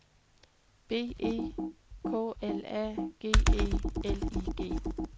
B E K L A G E L I G